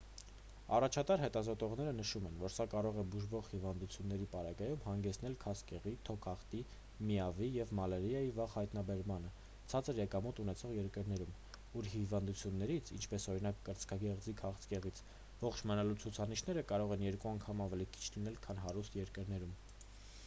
առաջատար հետազոտողները նշում են որ սա կարող է բուժվող հիվանդների պարագայում հանգեցնել քաղցկեղի թոքախտի միավ-ի և մալարիայի վաղ հայտնաբերմանը ցածր եկամուտ ունեցող երկրներում ուր հիվանդություններից ինչպես օրինակ կրծքագեղձի քաղցկեղից ողջ մնալու ցուցանիշները կարող են երկու անգամ ավելի քիչ լինել քան հարուստ երկրներում: